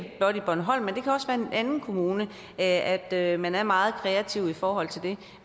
anden kommune at at man er meget kreativ i forhold til det